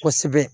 Kosɛbɛ